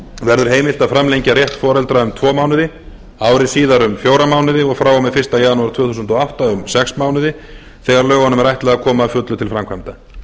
verður heimilt að framlengja rétt foreldra um tvo mánuði ári síðar um fjóra mánuði og frá og með fyrsta janúar tvö þúsund og átta um sex mánuði þegar lögunum er ætlað að koma að fullu til framkvæmda